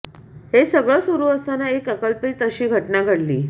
हे सगळं सुरू असताना एक अकल्पित अशी घटना घडली